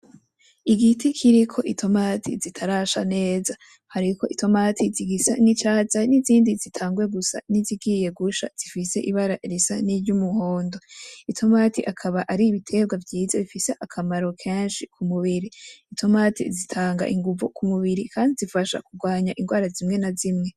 Igiti kiriko itomati zitarasha neza, hariko itomati zigisa n'icatsi hari n'izindi zitanguye gusa nizigiye gusha zifise ibara risa n'iryumuhondo, itomati akaba ari ibitegwa vyiza bifise akamaro kenshi ku mubiri, itomati zitanga inguvu ku mubiri; kandi zifasha kugwanya ingwara zimwe na zimwe.